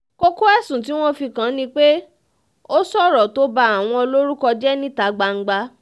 kókó ẹ̀sùn tí wọ́n fi kàn án ni pé ó sọ̀rọ̀ tó ba àwọn lórúkọ jẹ́ níta gbangba